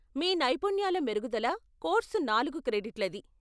మీ నైపుణ్యాల మెరుగుదల కోర్సు నాలుగు క్రెడిట్లది.